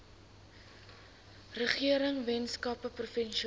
regering weskaapse provinsiale